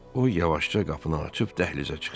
O yavaşca qapını açıb dəhlizə çıxdı.